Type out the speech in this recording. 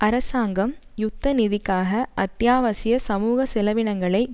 அரசாங்கம் யுத்த நிதிக்காக அத்தியாவசிய சமூக செலவினங்களை